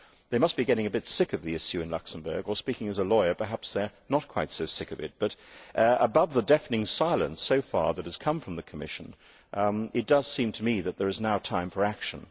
They must be getting a bit sick of the issue in Luxembourg or, speaking as a lawyer, perhaps they are not quite so sick of it but above the deafening silence that has come from the Commission so far, it does seem to me that it is now time for action.